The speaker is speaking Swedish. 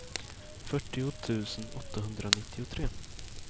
fyrtio tusen åttahundranittiotre